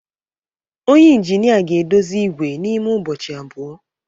Onye injinịa ga-edozi igwe n'ime ụbọchị abụọ.